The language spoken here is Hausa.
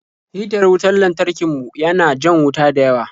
Hitar wutar lantarki mu ya na jan wuta dayawa.